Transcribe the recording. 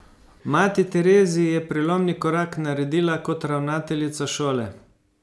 Mati Tereziji je prelomni korak naredila kot ravnateljica šole.